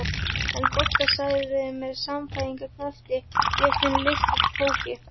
En Bogga sagði með sannfæringarkrafti: Ég finn lykt af kóki